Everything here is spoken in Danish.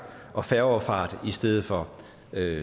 og færgeoverfart i stedet for